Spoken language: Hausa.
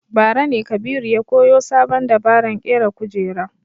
Bara ne Kabiru ya koyo sabon dabaran ƙera kujera